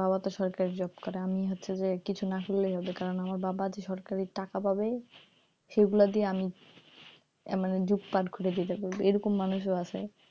বাবা তো সরকারি job করে আমি হচ্ছে যে কিছু না করলেও হবে আমার বাবা যে সরকারি টাকা পাবে সে গুলা দিয়ে আমি মানে job কার্ড খুলে যাবে এরকম মানুষ ও আছে,